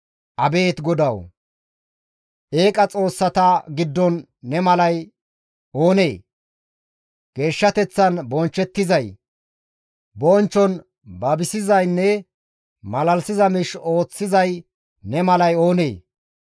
«Abeet GODAWU! Eeqa xoossata giddon ne malay oonee? Geeshshateththan bonchchettizay, bonchchon babisizaynne, malalisiza miish ooththizay ne malay oonee?